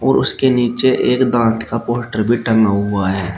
और उसके नीचे एक दांत का पोस्टर भी टंगा हुआ है।